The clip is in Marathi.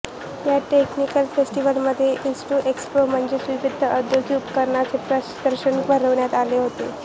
या टेक्निकल फेस्टीवलमध्ये इन्स्ट्रु एक्स्पो म्हणजेच विविध औद्योगिक उपकरणांचे प्रदर्शन भरविण्यात आले होते